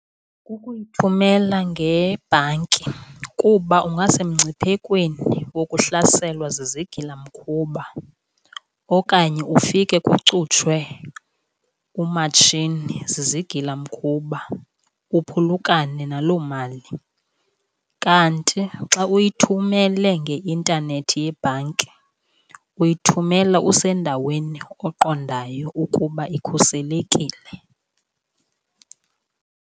Kukuyithumela ngebhanki kuba ungasemngciphekweni wokuhlaselwa zizigilamkhuba, okanye ufike kucutshwe umatshini zizigilamkhuba uphulukane naloo mali. Kanti xa uyithumele ngeintanethi yebhanki uyithumela usendaweni oqondayo ukuba ikhuselekile.